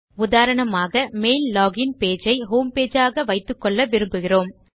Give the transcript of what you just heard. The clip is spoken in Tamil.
உதாரணமாக மெயில் லோகின் பேஜ் ஐ ஹோம் பேஜ் ஆக வைத்துக்கொள்ள விரும்புகிறோம்